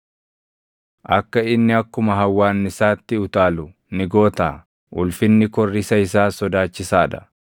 Akka inni akkuma hawwaannisaatti utaalu ni gootaa? Ulfinni korrisa isaas sodaachisaa dha.